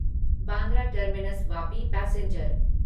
Bandra terminus Vapi passenger